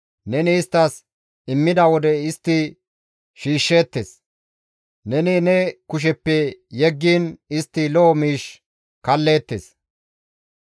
Neni isttas immida wode istti shiishsheettes; neni ne kusheppe yeggiin istti lo7o miish kalleettes.